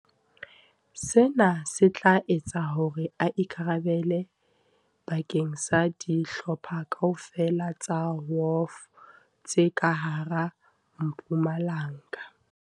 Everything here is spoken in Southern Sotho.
Sena se tla etsa hore a ikara belle bakeng sa dihlopha kaofela tsa WOF tse ka hara Mpumalanga.